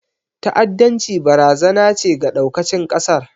ta'addanci barazana ce ga ɗaukacin ƙasar